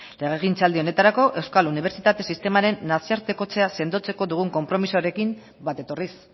legegintzaldi honetarako euskal unibertsitate sistemaren nazioartekotzea sendotzeko dugun konpromisoarekin bat etorriz